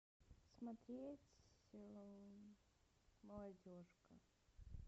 смотреть молодежка